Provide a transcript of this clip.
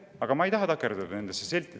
Aga ma ei taha takerduda nendesse siltidesse.